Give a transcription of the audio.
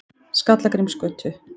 Skallagrímsgötu